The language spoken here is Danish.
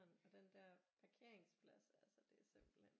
Og den der parkeringsplads altså det er simpelthen